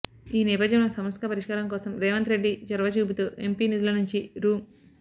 ఈ నేపథ్యంలో సమస్య పరిష్కారం కోసం రేవంత్ రెడ్డి చొరవ చూపుతూ ఎంపీ నిధుల నుంచి రూ